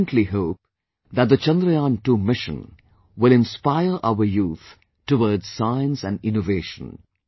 I fervently hope that the Chandrayaan II mission will inspire our youth towards Science & Innovation